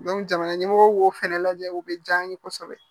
jamana ɲɛmɔgɔw b'o fɛnɛ lajɛ o bɛ diya n ye kosɛbɛ